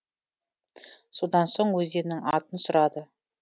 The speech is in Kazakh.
содан соң өзеннің атын сұрады